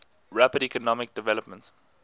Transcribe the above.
rapid economic development